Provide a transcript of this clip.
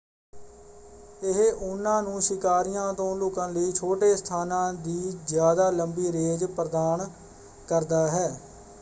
ਇਹ ਉਹਨਾਂ ਨੂੰ ਸ਼ਿਕਾਰੀਆਂ ਤੋਂ ਲੁਕਣ ਲਈ ਛੋਟੇ ਸਥਾਨਾਂ ਦੀ ਜਿਆਦਾ ਲੰਬੀ ਰੇਂਜ ਪ੍ਰਦਾਨ ਕਰਦਾ ਹੈ।